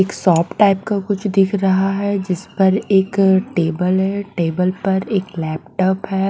एक shop type का कुछ दिख रहा है जिस पर एक टेबल है टेबल पर एक लैपटॉप है।